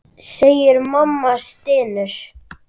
segir mamma og stynur.